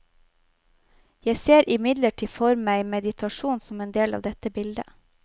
Jeg ser imidlertid for meg meditasjon som en del av dette bildet.